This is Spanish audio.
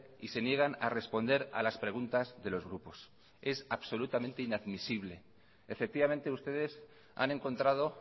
y se niegan a responder a las preguntas de los grupos es absolutamente inamisible efectivamente ustedes han encontrado